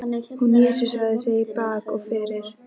Hún jesúsaði sig í bak og fyrir.